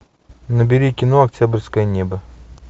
набери кино октябрьское небо